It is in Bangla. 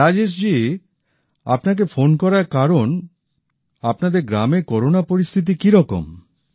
রাজেশ জি আপনাকে ফোন করার কারণ আপনাদের গ্রামে করোনা পরিস্থিতি কি রকম